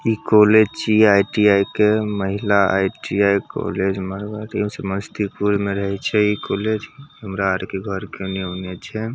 इ कॉलेज छै आई.टी.आई. के महिला आई.टी.आई. कॉलेज मारवाड़ी समस्तीपुर में रहय छै इ कॉलेज हमरा आर के घर के एने औने छै ।